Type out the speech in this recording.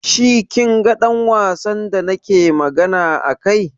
Shi kin ga ɗan wasan da nake magana a kai?